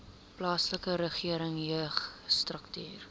plaaslike regering jeugstrukture